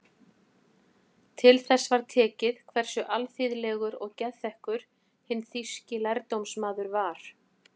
Til þess var tekið hversu alþýðlegur og geðþekkur hinn þýski lærdómsmaður var.